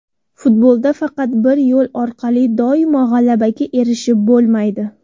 Futbolda faqat bir yo‘l orqali doimo g‘alabaga erishib bo‘lmaydi.